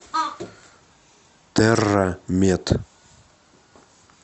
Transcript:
терра мед